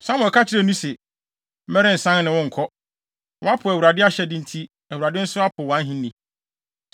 Samuel ka kyerɛɛ no se, “Merensan ne wo nkɔ. Woapo Awurade ahyɛde enti Awurade nso apo wʼahenni!”